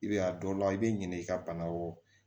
I bɛ a dɔ la i bɛ ɲinɛ i ka bana kɔ